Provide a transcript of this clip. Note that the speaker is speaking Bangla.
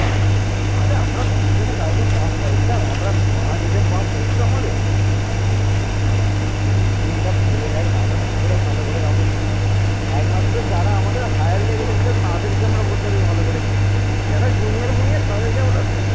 একমাত্র যারা আমাদের higher level ছিল তাদেরকে আমরা বলতে পারি ভালোভাবে চিনি যারা junior কুনিয়ার তাদেরকে আমরা,